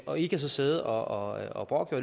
og i kan så sidde og brokke